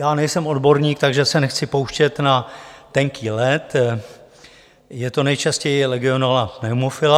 Já nejsem odborník, takže se nechci pouštět na tenký led, je to nejčastěji Legionella pneumophila.